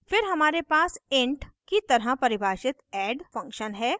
फिर हमारे पास int की तरह परिभाषित add function है